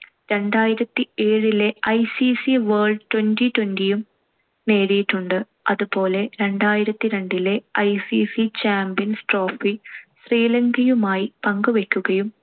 രണ്ടായിരത്തിഏഴിലെ ICC world twenty twenty യും നേടിയിട്ടുണ്ട്. അതു പോലെ രണ്ടായിരത്തിരണ്ടിലെ ICCchampions trophy ശ്രീലങ്കയുമായി പങ്കു വെക്കുകയും